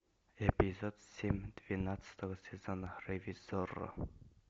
эпизод семь двенадцатого сезона ревизорро